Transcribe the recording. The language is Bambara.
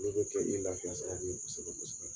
N'i b'o kɛ i b'i lafiya sababu ye kosɛbɛ kosɛbɛ.